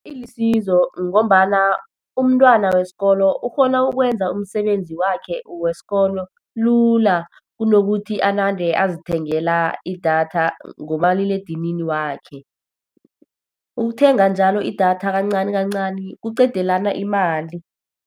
Ilisizo ngombana umntwana wesikolo ukghona ukwenza umsebenzi wakhe weskolo lula, kunokuthi anande azithengela idatha ngomaliledinini wakhe. Ukuthenga njalo idatha kancani kancani, kuqedelana imali.